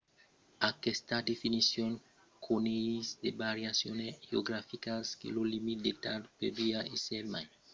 aquesta definicion coneis de variacions geograficas que lo limit d'edat podriá èsser mai bas dins d'endreches coma america del nòrd qu'en euròpa